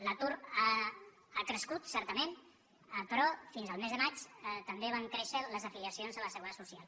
l’atur ha crescut certament però fins al mes de maig també van créixer les afiliacions a la seguretat social